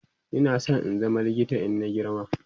Ina San in zama likita in na girma